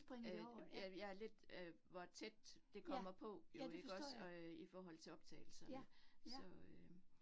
Øh ja, jeg er lidt øh hvor tæt det kommer på jo ikke også øh i forhold til optagelserne så øh